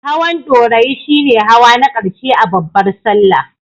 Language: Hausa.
Hawan Ɗorayi shi ne hawa na ƙarshe a babbar Sallah.